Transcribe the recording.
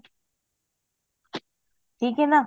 ਠੀਕ ਐ ਨਾ